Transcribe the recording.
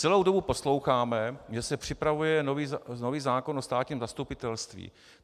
Celou dobu posloucháme, že se připravuje nový zákon o státním zastupitelství.